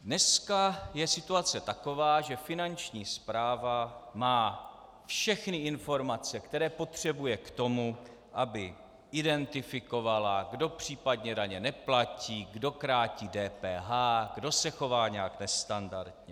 Dneska je situace taková, že Finanční správa má všechny informace, které potřebuje k tomu, aby identifikovala, kdo případně daně neplatí, kdo krátí DPH, kdo se chová nějak nestandardně.